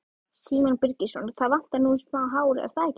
Símon Birgisson: Það vantar nú smá hár, er það ekki?